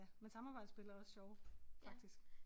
Men samarbejdsspil er også sjove faktisk